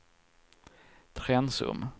Trensum